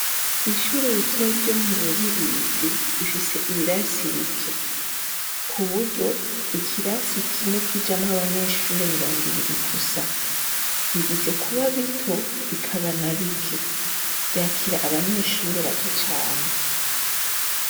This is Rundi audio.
Ishure ritoyi ryo mu Rubirizi rifise ibirasi bike ikirasi kimwe kijamwo abanyeshure mirongo ibiri gusa biretse kuba bito bikaba na bike vyakira abanyeshure bake cane.